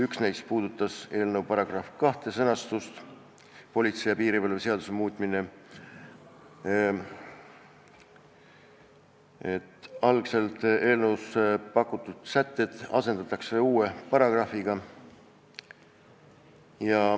Üks neist puudutas eelnõu § 2 "Politsei ja piirivalve seaduse muutmine" sõnastust, algselt eelnõus pakutud sätted asendatakse uue paragrahviga.